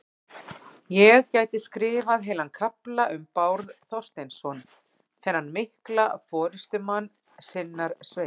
Ég gæti skrifað heilan kafla um Bárð Þorsteinsson, þennan mikla forystumann sinnar sveitar.